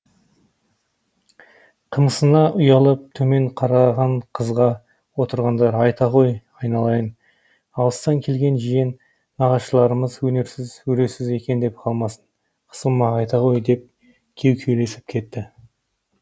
қымсына ұялып төмен қараған қызға отырғандар айта ғой айналайын алыстан келген жиен нағашыларым өнерсіз өресіз екен деп қалмасын қысылма айта ғой деп кеу кеулесіп кетті